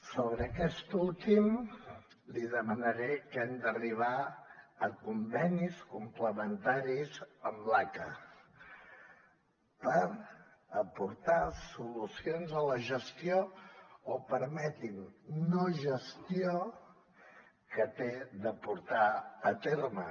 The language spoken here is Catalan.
sobre aquest últim li demanaré que hem d’arribar a convenis complementaris amb l’aca per aportar solucions a la gestió o permeti’m no gestió que ha de portar a terme